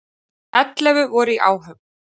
Ellefu voru í áhöfn.